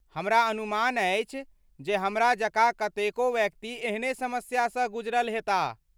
हमरा अनुमान अछि जे हमरा जकाँ कतेको व्यक्ति एहने समस्यासँ गुजरल हेताह।